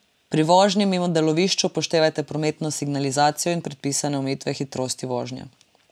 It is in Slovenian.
Pri vožnji mimo delovišč upoštevajte prometno signalizacijo in predpisane omejitve hitrosti vožnje.